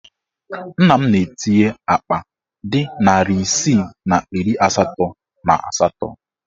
Nna m na-etinye akpa dị narị isii na iri asatọ na asatọ.